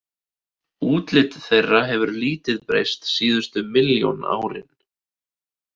Útlit þeirra hefur lítið breyst síðustu milljón árin.